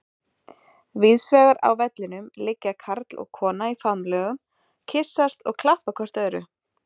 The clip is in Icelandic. Víðsvegar á vellinum liggja karl og kona í faðmlögum, kyssast og klappa hvert öðru.